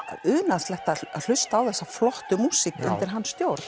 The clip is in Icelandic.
unaðslegt að hlusta á þessa flottu músík undir hans stjórn